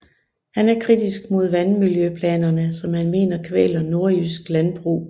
Han er kritisk mod vandmiljøplanerne som han mener kvæler nordjysk landbrug